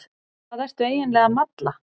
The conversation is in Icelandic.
Hvað ertu eiginlega að malla?